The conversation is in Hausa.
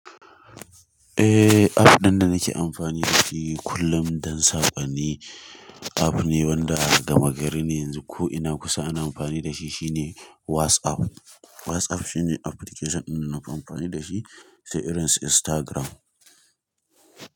Eh app ɗin da nake amfani da shi kullum don saƙonniapp ne wanda a gama gari ne yanzu ko ina kusa ana amfani da shi. Shi ne WhatsApp. WhatsApp shine application ɗin da nafi amfani da shi sai irin su Instagram.